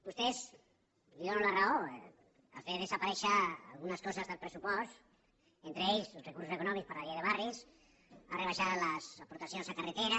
vostè i li dono la raó ha fet desaparèixer algunes coses del pressupost entre elles recursos econòmics per a la llei de barris ha rebaixat les aportacions a carreteres